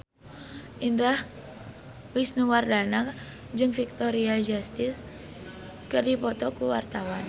Indah Wisnuwardana jeung Victoria Justice keur dipoto ku wartawan